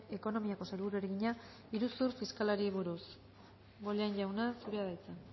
ekonomiako sailburuari egina iruzur fiskalari buruz bollain jauna zurea da hitza